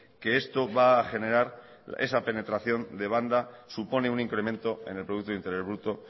que esto va a generar esa penetración de banda que supone un incremento en el producto interior bruto